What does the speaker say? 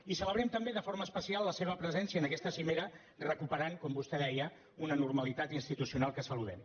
i celebrem també de forma especial la seva presència en aquesta cimera recuperant com vostè deia una normalitat institucional que saludem